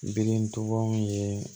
Birintubaw ye